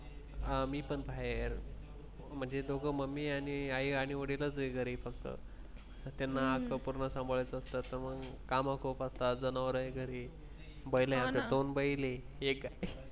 आम्ही पण बाहेर म्हणजे दोघे Mummy आणि आई आणि वडिलांचे घरी फक्त. त्यांना संपूर्ण सांभाळायचं असतं तर मग काम खूप असतात जनावर आहे घरी दोन बैल आहे.